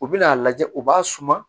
U bɛn'a lajɛ u b'a suma